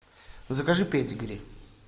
закажи педигри